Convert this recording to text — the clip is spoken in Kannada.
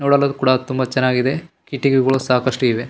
ನೋಡಲು ಕೂಡ ಅದು ತುಂಬಾ ಚೆನ್ನಾಗಿದೆ ಕಿಟಕಿಗಳು ಸಾಕಷ್ಟು ಇವೆ.